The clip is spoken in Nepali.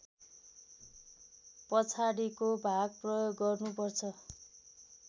पछाडिको भाग प्रयोग गर्नुपर्छ